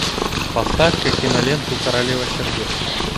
поставь ка киноленту королева сердец